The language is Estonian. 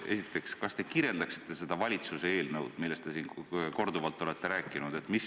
Esiteks, kas te kirjeldaksite seda valitsuse eelnõu, millest te siin korduvalt olete rääkinud?